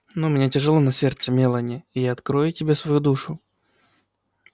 но у меня тяжёло на сердце мелани и я открою тебе свою душу